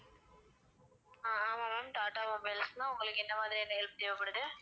ஆஹ் ஆமாம் ma'am Tata mobiles தான் உங்களுக்கு என்ன மாதிரியான help தேவைப்படுது?